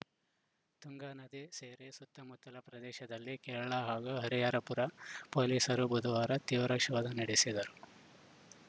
ತುಂಗಾ ನದಿ ಸೇರಿ ಸುತ್ತಮುತ್ತಲ ಪ್ರದೇಶದಲ್ಲಿ ಕೇರಳ ಹಾಗೂ ಹರಿಹರಪುರ ಪೊಲೀಸರು ಬುಧವಾರ ತೀವ್ರ ಶೋಧ ನಡೆಸಿದರು